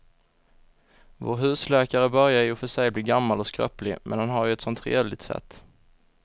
Vår husläkare börjar i och för sig bli gammal och skröplig, men han har ju ett sådant trevligt sätt!